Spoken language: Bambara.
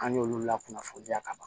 An y'olu lakunafoniya ka ban